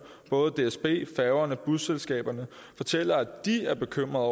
både dsb færgerne og busselskaberne fortæller at de er bekymrede